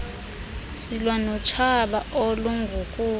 silwa notshaba olungukufa